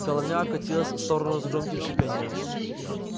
головня окатилась в сторону с громким шипением